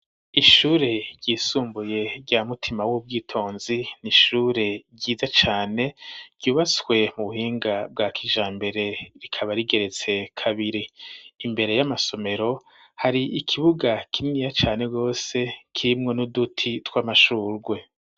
Ishure ryisumbuye rya mutima w'ubwitonzi ni ishure ryiza cane ryubatswe mu buhinga bwa kija mbere rikaba rigeretse kabiri imbere y'amasomero hari ikibuga kinniya cane rwose kirimwo n'uduti tw'amashurwe.